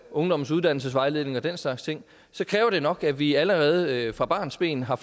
ungdommens uddannelsesvejledning og den slags ting så kræver det nok at vi allerede fra barnsben har